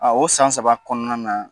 A o san saba kɔnɔna na